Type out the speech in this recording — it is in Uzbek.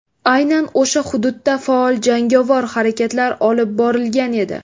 Aynan o‘sha hududda faol jangovar harakatlar olib borilgan edi.